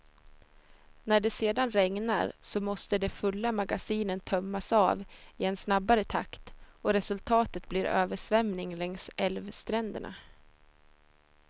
När det sedan regnar, så måste de fulla magasinen tömmas av i en snabbare takt och resultatet blir översvämning längs älvstränderna.